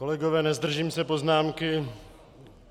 Kolegové, nezdržím se poznámky.